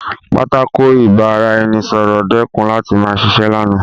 Pátákó ìbára-ẹni-sọ̀rọ̀ dẹ́kun láti ma ṣiṣẹ́ lánàá